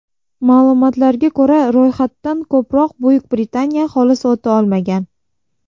Ma’lumotlarga ko‘ra, ro‘yxatdan ko‘proq Buyuk Britaniya aholisi o‘ta olmagan.